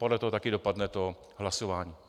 Podle toho taky dopadne to hlasování.